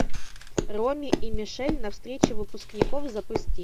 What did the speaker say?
роми и мишель на встрече выпускников запусти